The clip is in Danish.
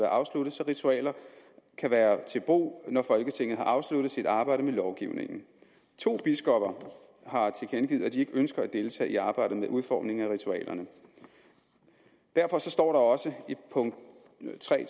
afsluttet så ritualerne kan være til brug når folketinget har afsluttet sit arbejde med lovgivningen to biskopper har tilkendegivet at de ikke ønsker at deltage i arbejdet med udformningen af ritualerne derfor står der også i punkt tre